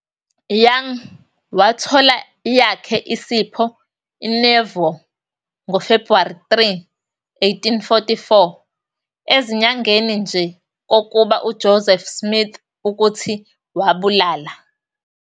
Young wathola yakhe isipho eNauvoo ngoFebhuwari 3, 1844, ezinyangeni nje kokuba uJoseph Smith ukuthi wabulala.